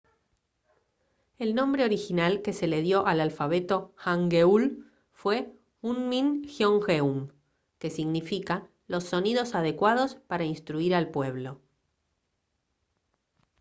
el nombre original que se le dio al alfabeto hangeul fue hunmin jeongeum que significa «los sonidos adecuados para instruir al pueblo»